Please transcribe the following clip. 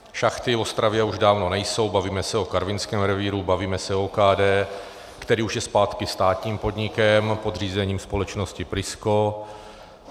Šachty v Ostravě už dávno nejsou, bavíme se o karvinském revíru, bavíme se o OKD, který už je zpátky státním podnikem pod řízením společnosti Prisco.